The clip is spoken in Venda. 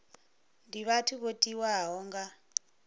ndi vhathu vho tiwaho nga